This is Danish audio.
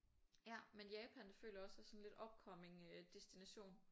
Ja men Japan det føler jeg også er sådan lidt upcoming øh destination